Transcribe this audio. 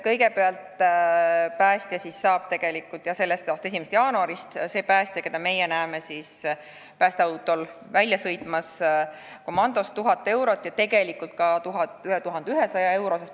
Kõigepealt, päästja siis saab jah selle aasta 1. jaanuarist – see päästja, kes päästeautoga välja sõidab – palka 1000 eurot ja tegelikult isegi üle 1100 euro.